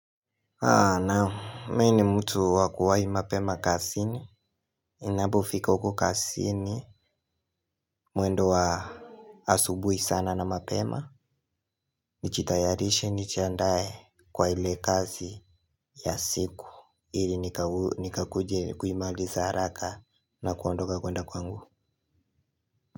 Naam, mimi ni mtu wakuwahi mapema kasini, inapofika huko kasini, mwendo wa asubui sana na mapema, nijitayarishe nijiandaye kwa hile kazi ya siku, ili nikakuje kuimaliza haraka na kuondoka kwenda kwangu.